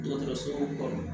Dɔgɔtɔrɔso kɔnɔ